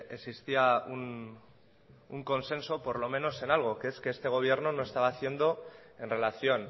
existía un consenso por lo menos en algo que es que este gobierno no estaba haciendo en relación